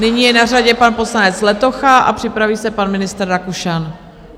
Nyní je na řadě pan poslanec Letocha a připraví se pan ministr Rakušan.